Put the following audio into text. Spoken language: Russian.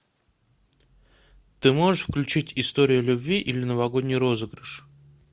ты можешь включить история любви или новогодний розыгрыш